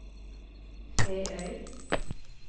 Feøy